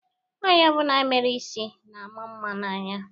Nwaanyi ọbụna mere isi na-ama mma n'anya.